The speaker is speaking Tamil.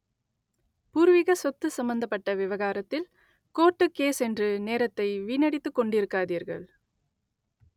பூர்வீக சொத்து சம்மந்தப்பட்ட விவகாரத்தில் கோர்ட்டு கேஸ் என்று நேரத்தை வீணடித்துக் கொண்டிருக்காதீர்கள்